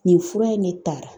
Nin fura in ne tara.